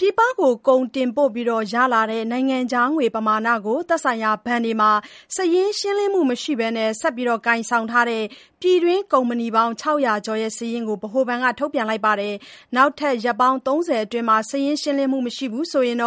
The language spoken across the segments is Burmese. ပြည်ပကို ကုန်တင်ပို့ပြီးရလာတဲ့ နိုင်ငံခြားငွေပမာဏကို သက်ဆိုင်ရာဘဏ်တွေမှာ စာရင်းမရှင်းဘဲ ဆက်ပြီးကိုင်ဆောင်ထားတဲ့ ပြည်တွင်းကုမ္ပဏီပေါင်း ၆၀၀ ကျော်ရဲ့ စာရင်းကို ဗဟိုဘဏ်က ထုတ်ပြန်လိုက်ပါတယ်။ နောက်ထပ် ရက်ပေါင်း ၃၀ အတွင်း စာရင်းရှင်းလင်းမှု မရှိဘူးဆိုရင်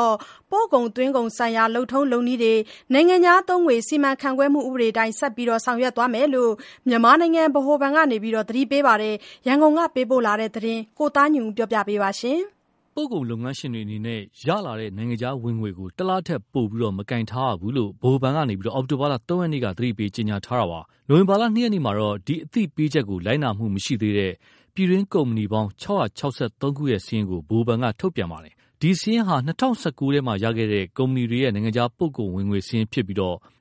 ပို့ကုန်/ သွင်းကုန်ဆိုင်ရာ လုပ်ထုံးလုပ်နည်းတွေ၊ နိုင်ငံခြားသုံးငွေ စီမံခန့်ခွဲမှုဥပဒေအတိုင်း ဆက်ပြီးဆောင်ရွက်သွားမယ်လို့ မြန်မာနိုင်ငံ ဗဟိုဘဏ်ဘက်က သတိပေးထားပါတယ်။ ရန်ကုန် ကပေးပို့တဲ့ ဒီသတင်းကို ကိုသားညွန့်ဦးကတင်ပြပေးထားပါတယ်။ ပို့ကုန်လုပ်ငန်းရှင်တွေအနေနဲ့ ရလာတဲ့နိုင်ငံခြားငွေကို တလထက်ပိုပြီး မကိုင်ဆောင်ထားရဘူးလို့ ဗဟိုဘဏ်က အောက် တိုဘာ ၃ ရက်က သတိပေး ကြေညာထားတာပါ။ နိုဝင်ဘာ ၂ ရက်မှာတော့ ဒီအသိပေးချက်ကို လိုက်နာမှုမရှိသေးတဲ့ ပြည်တွင်းကုမ္ပဏီပေါင်း ၆၆၃ ခုရဲ့ စာရင်းကို ဗဟိုဘဏ်က ထုတ်ပြန်ထားပါတယ်။ ဒီစာရင်းဟာ ၂၀၁၉ ထဲမှာရခဲ့တဲ့ ကုမ္ပဏီတွေရဲ့ နိုင်ငံခြားပို့ကုန်ဝင်ငွေစာရင်းဖြစ်ပြီး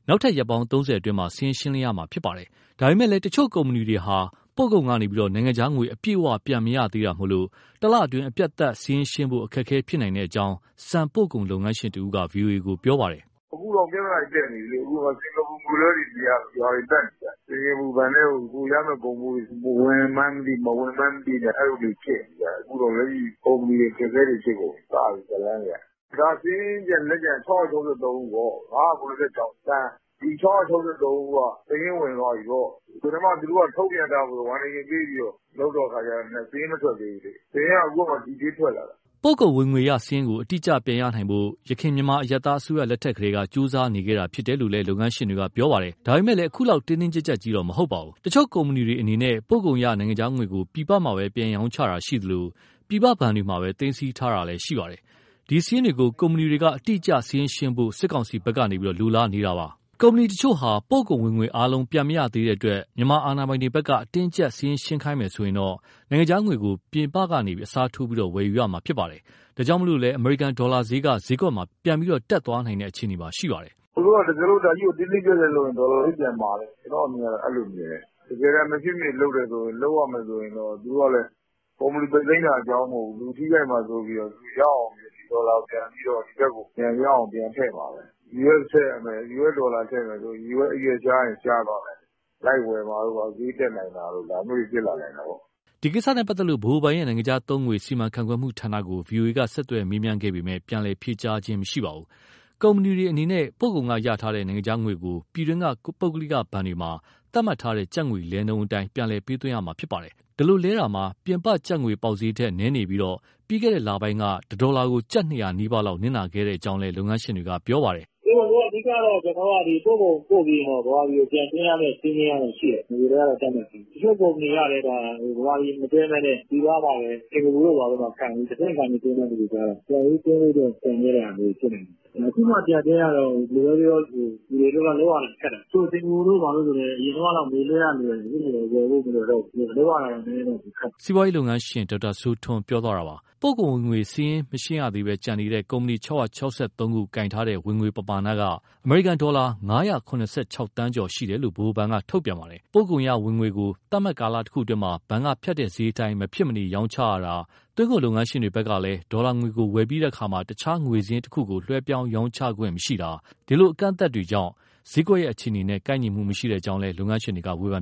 နောက်ထပ်ရက်ပေါင်း ၃၀ အတွင်းမှာ စာရင်းရှင်းလင်းရမှာ ဖြစ်ပါတယ်။ ဒါပေမယ့်လည်း တချို့ကုမ္ပဏီတွေဟာ ပို့ကုန်ကနေ နိုင်ငံခြားငွေ အပြည့်အဝပြန်မရသေးတာကြောင့် တလအတွင်း အပြီးသတ်စာရင်းရှင်းဖို့ အခက်အခဲဖြစ်နိုင်ကြောင်း ဆန်ပို့ကုန်လုပ်ငန်းရှင်တဦးက ဗွီအိုအေကို ပြောပါတယ်။ “အခုတောင် ပြဿနာတွေ တက်နေပြီလေ။ စင်္ကာပူငွေလွှဲတွေမရလို့၊ ရွာတွေပတ်နေကြပြီ။ စင်္ကာပူဘဏ်ထဲကို ကိုယ် ရမယ့်ကုန်ဖိုးတွေ ဝင်မှန်းမသိ၊ မဝင်မှန်းမသိ အဲလိုတွေဖြစ်နေကြတာ။ အခုလက်ရှိကုမ္ပဏီတွေ အခက်အခဲတွေ ဖြစ်နေကြပြီ။ စပြီ-ဇာတ်လမ်းတွေက။ စာရင်းလက်ကျန်က ၆၆၃ ဦးပေါ့။ ၅၇၆ သန်း။ ဒီ ၆၆၃ ဦးက စာရင်းဝင်သွားပြီပေါ့။ ပထမသူတို့ ထုတ်ပြန်ထားပြီးတော့ warning တွေပေးပြီးတော့ လုပ်တော့အခါကျ စာရင်းမထွက်သေးဘူးလေ၊ စာရင်းက အခုမှdetail ထွက်လာတာ။” ပို့ကုန်ဝင်ငွေရစာရင်းကို အတိအကျပြန်ရနိုင်ဖို့ ယခင် မြန်မာအရပ်သားအစိုးရလက်ထက်ကတည်းက ကြိုးစားနေခဲ့တာဖြစ်တယ်လို့ လုပ်ငန်းရှင်တွေက ပြောပါတယ်။ ဒါပေမယ့် အခုလောက် တင်းတင်းကြပ်ကြပ်ကြီးမဟုတ်ပါဘူး။ တချို့ ကုမ္ပဏီတွေအနေနဲ့ ပို့ကုန်ရ နိုင်ငံခြားငွေကို ပြည်ပမှာပဲပြန်ရောင်းချတာရှိသလို ပြည်ပဘဏ်တွေမှာပဲ သိမ်းဆည်းထားတာလည်း ရှိပါတယ်။ ဒီစာရင်းတွေကို ကုမ္ပဏီတွေက အတိအကျစာရင်းရှင်းဖို့ စစ်ကောင်စီဘက်က လိုလားနေတာပါ။ ကုမ္ပဏီတချို့ဟာ ပို့ကုန်ဝင်ငွေအားလုံး ပြန်မရသေးတဲ့တွက် မြန်မာအာဏာပိုင်တွေဘက်က အတင်းအကျပ် စာရင်းရှင်းခိုင်းမယ် ဆိုရင်တော့ နိုင်ငံခြားငွေကို ပြင်ပကနေ အစားထိုးပြီး ဝယ်ယူရမှာဖြစ်ပါတယ်။ ဒါကြောင့် အမေရိကန်ဒေါ်လာဈေးက ဈေးကွက်မှာ ပြန်ပြီးတက်သွားနိုင်တဲ့ အခြေအနေရှိပါတယ်။ “သူတို့က ဒါကြီးကို တင်းတင်းကျပ်ကျပ်လုပ်မယ်ဆိုရင် ဒေါ်လာဈေးပြန်မာလိမ့်မယ်။ ကျနော့်အမြင်က အဲလိုမြင်တယ်။ တကယ်တမ်း မဖြစ်နေလုပ်ရတယ်ဆိုရင် ကုမ္ပဏီပိတ်သိမ်းတာ အကြောင်းမဟုတ်ဘူး။ လူထိခိုက်မှာစိုးပြီး ရအောင် ဒီဒေါ်လာကိုပြန်ပြီး ဒီဘက်ကို ရအောင်ပြန်ထည့်မှာပဲ။ US ဒေါ်လာထည့်ရမယ်ဆိုရင် US အရွက်ရှားရင် ရှားသွားနိုင်တယ်။ လိုက်ဝယ်နိုင်တာတို့ ဈေးတက်နိုင်တာတို့ ဒါမျိုးတွေ ဖြစ်လာနိုင်တယ်။” ဒီကိစ္စနဲ့ပတ်သက်လို့ ဗဟိုဘဏ်ရဲ့ နိုင်ငံခြားသုံးငွေ စီမံခန့်ခွဲမှုဌာနကို ဗွီအိုအေကဆက်သွယ်မေးမြန်းခဲ့ပေမဲ့ ပြန်လည်ဖြေကြားခြင်း မရှိပါဘူး။ ကုမ္ပဏီတွေအနေနဲ့ ပို့ကုန်ကရထားတဲ့ နိုင်ငံခြားငွေကို ပြည်တွင်းက ပုဂ္ဂလိကဘဏ်တွေမှာ သတ်မှတ်ထားတဲ့ ကျပ်ငွေလဲနှုန်းအတိုင်း ပြန်လည်ပေးသွင်းရမှာ ဖြစ်ပါတယ်။ ဒီလိုလဲတာမှာ ပြင်ပကျပ်ငွေပေါက်ဈေးထက် နည်းနေပြီး ပြီးခဲ့တဲ့လပိုင်းက တဒေါ်လာကို ကျပ် ၂၀၀ နီးပါးလောက် နစ်နာကြောင်းလည်း လုပ်ငန်းရှင်တွေ ပြောပါတယ်။ “အဓိကတော့ ပို့ကုန်ပို့ပြီးရင်တော့ မြန်မာပြည်ကို ပြန်သွင်းရမယ့် စည်းမျဉ်းကရှိတယ် နဂိုကတည်းက သတ်မှတ်ပြီးဖြစ်တယ်။ တချို့ကုမ္ပဏီကလည်း ဗမာပြည်မသွင်းဘဲနဲ့ ပြည်ပမှာပဲ စင်္ကာပူတို့ဘာတို့မှာ တဆင့်ခံပြီးသွင်းတဲ့ လူတွေကျတော့ ပြန်ပြီးသွင်းဖို့ ကျန်ခဲ့တဲ့ဟာမျိုးတွေ ဖြစ်နိုင်တာပေါ့။ အခုမှပြန်သွင်းရတော့ ဘယ်လိုပဲပြောပြော လူတွေအတွက်ကတော့ လုပ်ရတာခက်တာပေါ့။ တချို့ စင်္ကာပူတို့ဘာတို့ဆိုလည်း အရင်တုန်းကငွေလွှဲရ လွယ်တယ် အခုဆိုရင် မလွယ်တော့ဘူး။ လုပ်ရတာနည်းနည်းတော့ ပိုခက်တာပေါ့။” စီးပွားရေးလုပ်ငန်းရှင် ဒေါက်တာစိုးထွန်းပြောသွားတာပါ။ ပို့ကုန်ဝင်ငွေစာရင် မရှင်းရသေးဘဲကျန်နေတဲ့ ကုမ္ပဏီ ၆၆၃ ခု ကိုင်ဆောင်ထားတဲ့ ဝင်ငွေပမာဏက အမေရိကန်ဒေါ်လာ ၅၇၆,၈၃၁,၇၈၉.၈၂ ရှိတယ်လို့ ဗဟိုဘဏ်က ထုတ်ပြန်ထားပါတယ်။ပို့ကုန်ရဝင်ငွေကို သတ်မှတ်ကာလတခုအတွင်းမှာ ဘဏ်ကဖြတ်တဲ့ဈေးအတိုင်း မဖြစ်မနေ ရောင်းချရတာ၊ သွင်းကုန်လုပ်ငန်းရှင်ကလည်း ဒေါ်လာငွေကို ဝယ်ပြီးတဲ့အခါမှာ တခြားငွေစာရင်းတခုကို လွှဲပြောင်းရောင်းချခွင့်မရှိတာ ဒီလို ကန့်သတ်ချက်တွေကြောင့် ဈေးကွက်ရဲ့ အခြေအနေနဲ့ ကိုက်ညီမှုမရှိကြောင်း လုပ်ငန်းရှင်တွေက ဝေဖန်